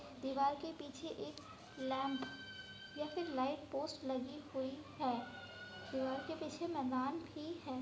दीवार के पीछे एक लैंप या फिर एक लैंपपोस्ट लगी हुई है दीवार के पीछे मैदान भी है।